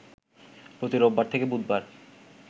প্রতি রোববার থেকে বুধবার